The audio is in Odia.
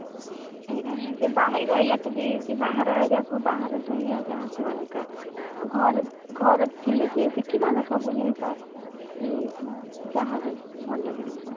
ସେଇଟା ହିଁ ସେ ବାହାରେ ରହିଲା ତ ସେ ବାହାର area ସବୁ ବାହାର ଦୁନିଆ ଯାହା ଅଲଗା ଘର ଘର ଥିଲେ ସେ ଶିଖିଥାନ୍ତା ସବୁ ଜିନିଷ କି ଯାହା ବି ଭଲ ଜିନିଷ